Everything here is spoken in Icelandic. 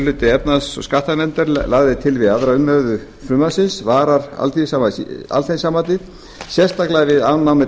hluti efnahags og skattanefndar lagði til við aðra umræðu frumvarpsins varar alþýðusambandið sérstaklega við afnámi